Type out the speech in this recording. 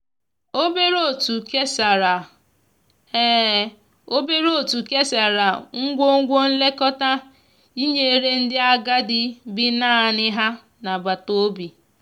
obere otu kesara obere otu kesara ngwugwo nlekọta nyere ndi agadi bi naani ha n'agbata obi.